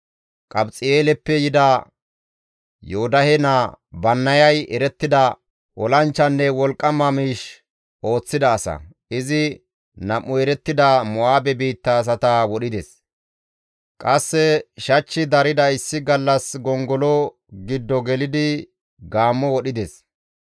Qabxi7eeleppe yida Yoodahe naa Bannayay erettida olanchchanne wolqqama miish ooththida asa; izi nam7u erettida Mo7aabe biitta asata wodhides; qasse shachchi darida issi gallas gongolo giddo gelidi gaammo wodhides.